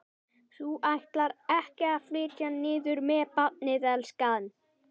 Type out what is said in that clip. Þú ætlar ekki að flytja niður með barnið, elskan?